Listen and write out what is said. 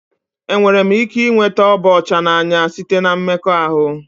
Enwere m ike ịnweta ịba ọcha n'anya site na mmekọahụ?